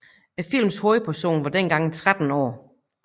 Filmens hovedperson var dengang 13 år